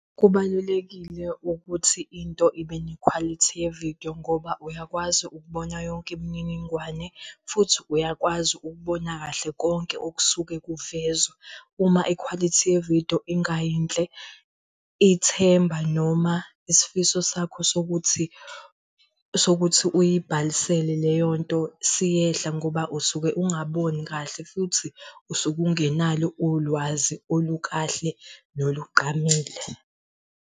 Kubalulekile ukuthi into ibe nekhwalithi ye-video ngoba uyakwazi ukubona yonke imininingwane futhi uyakwazi ukubona kahle konke okusuke kuvezwa. Uma ikhwalithi ye-video ingayinhle ithemba, noma isifiso sakho sokuthi sokuthi uyibhalisele leyo nto siyehla ngoba usuke ungaboni kahle futhi usuke ungenalo ulwazi olukahle nolugqamile.